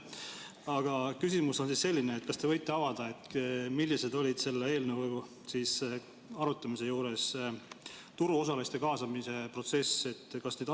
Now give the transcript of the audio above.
Aga küsimus on selline: kas te võite avada, milline oli selle eelnõu arutamise juures turuosaliste kaasamise protsess?